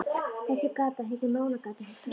Þessi gata heitir Mánagata, hugsar hann.